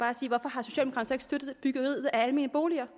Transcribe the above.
har støttet byggeriet af almene boliger